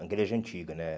A igreja antiga, né?